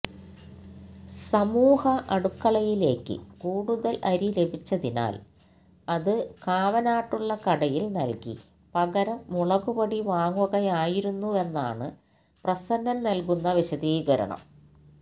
സമൂഹ അടുക്കളയിലേയ്ക്ക് കൂടുതൽ അരി ലഭിച്ചതിനാൽ അത് കാവനാടുള്ള കടയിൽ നൽകി പകരം മുളകുപൊടി വാങ്ങുകയായിരുന്നുവെന്നാണ് പ്രസന്നൻ നൽകുന്ന വിശദീകരണം